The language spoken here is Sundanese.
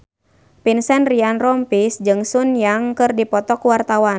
Vincent Ryan Rompies jeung Sun Yang keur dipoto ku wartawan